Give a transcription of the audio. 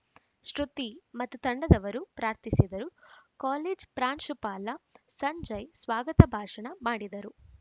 ಶೃತಿ ಮತ್ತು ತಂಡದವರು ಪ್ರಾರ್ಥಿಸಿದರು ಕಾಲೇಜ್ ಪ್ರಾಂಶುಪಾಲ ಸಂಜಯ್‌ ಸ್ವಾಗತ ಭಾಷಣ ಮಾಡಿದರು